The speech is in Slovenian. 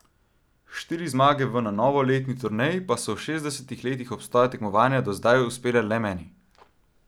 Štiri zmage v na novoletni turneji pa so v šestdesetih letih obstoja tekmovanja do zdaj uspele le meni.